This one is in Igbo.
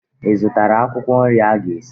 Ị zụtara akwụkwọ nri ị ga-esi?